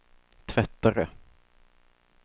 tvättare